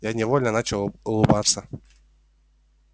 я невольно начал улыбаться